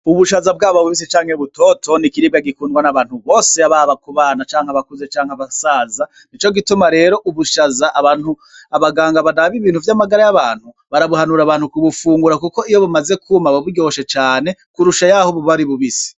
Ubushaza bwaba bubisi canke butoto n'ikiribwa gikundwa n'abantu bose baba ku bana canke abakuze cank' abasaza nico gituma rero ubushaza abaganga baraba ivyo amagara y'abantu bara buhunura abantu kubufungura kuko iyo bumaze kwuma buba buryoshe cane kurusha yaho buba ari bubisi.